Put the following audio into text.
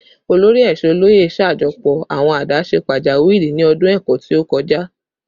Olori Eesho Oloye ṣajọpọ awọn adaṣe pajawiri ni ọdun ẹkọ ti o kọja